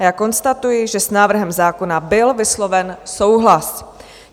A já konstatuji, že s návrhem zákona byl vysloven souhlas.